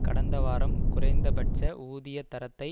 கடந்த வாரம் குறைந்த பட்ச ஊதிய தரத்தை